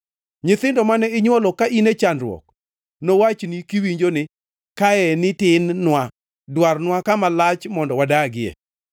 Nyithindo mane inywolo ka in e chandruok nowachni kiwinjo ni, Kaeni tin-nwa; dwarnwa kama lach mondo wadagie.